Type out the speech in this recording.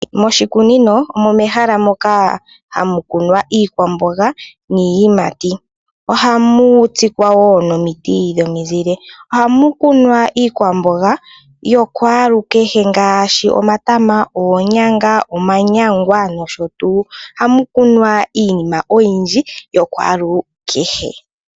Moshikunino omo mehala moka hamu kunwa iikwamboga niiyimati. Ohamu tsikwa woo nomiti dhomizile. Ohamu kunwa iikwamboga yokwaalukehe ngaashi omatama, oonyanga, omanyangwa nosho tuu . Ohamu kunwa iinima oyindji ya kwaalukehe.